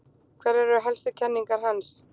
Hverjar eru helstu kenningar hans?